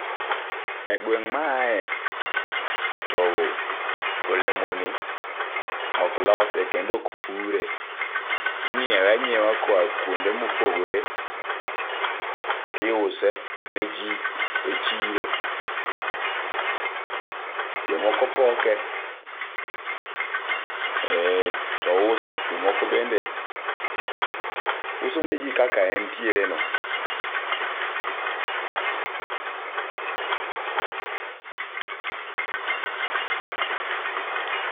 E gweng' ma aaye to olemo ni ok lose kendo ok pure. Inyiewe anyiewa koa kuonde mopogore ,tiuse ne jii e chiro. Jomoko poke to uso jomoko bende uso ne jii kaka entiere no